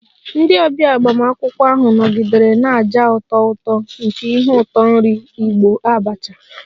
Ndị ọbịa agbamakwụkwọ ahụ nọgidere na-aja ụtọ ụtọ nke ihe ụtọ nri Igbo 'abacha'